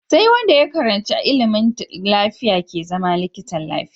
Sai Wanda ya karanshi ilimin lafiya ke zama likitan lafiya